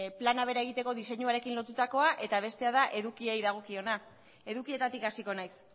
plana bera egiteko diseinuarekin lotutakoa eta bestea da edukiei dagokiona edukietatik hasiko naiz